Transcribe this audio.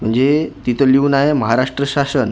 म्हणजे तिथं लिहून आहे महाराष्ट्र शासन --